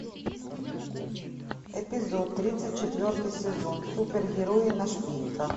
эпизод тридцать четвертый сезон супергерои на шпильках